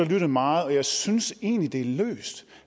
og lyttet meget og jeg synes egentlig det